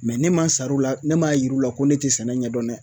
ne ma sara u la ne m'a yir'u la ko ne tɛ sɛnɛ ɲɛdɔn dɛ